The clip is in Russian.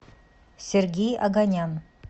сергей оганян